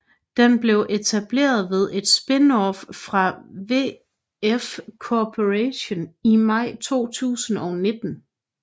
Den blev etableret ved et spin off fra VF Corporation i maj 2019